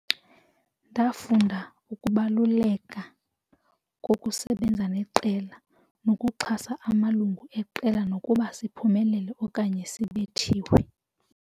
Ndafunda ukubaluleka kokusebenza neqela nokuxhasa amalungu eqela nokuba siphumelele okanye sibethiwe.